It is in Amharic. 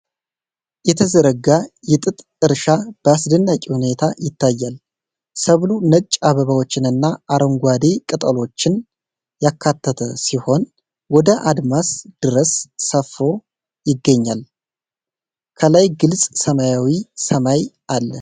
የተዘረጋ የጥጥ እርሻ በአስደናቂ ሁኔታ ይታያል። ሰብሉ ነጭ አበባዎችንና አረንጓዴ ቅጠሎችን ያካተተ ሲሆን፣ ወደ አድማስ ድረስ ሰፍሮ ይገኛል። ከላይ ግልጽ ሰማያዊ ሰማይ አለ።